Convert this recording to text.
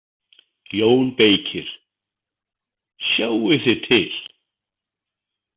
JÓN BEYKIR: Sjáið þið til!